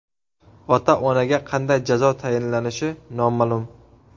Ota-onaga qanday jazo tayinlanishi noma’lum.